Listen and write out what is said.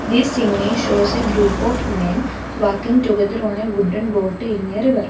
this image shows a group of men walking together on a wooden boat in a river.